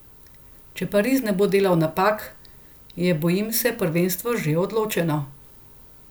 Če Pariz ne bo delal napak, je, bojim se, prvenstvo že odločeno.